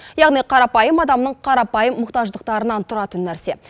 яғни қарапайым адамның қарапайым мұқтаждықтарынан тұратын нәрсе